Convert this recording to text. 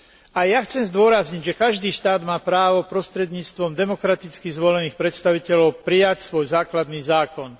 Aj ja chcem zdôrazniť, že každý štát má právo prostredníctvom demokraticky zvolených predstaviteľov prijať svoj základný zákon.